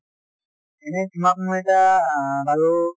এনেই তোমাক মই এটা অ বাৰু